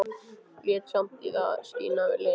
Lét samt í það skína við Lenu.